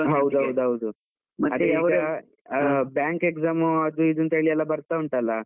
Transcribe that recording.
ಹೌದೌದೌದು, bank exam ಅದು ಇದು ಅಂತ ಹೇಳಿ ಎಲ್ಲ ಬರ್ತಾ ಉಂಟಲಾ.